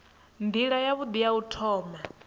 nila yavhui ya u thoma